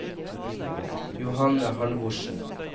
Johanne Halvorsen